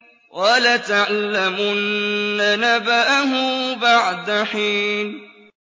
وَلَتَعْلَمُنَّ نَبَأَهُ بَعْدَ حِينٍ